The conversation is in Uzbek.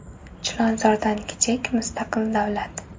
Chilonzordan kichik mustaqil davlat.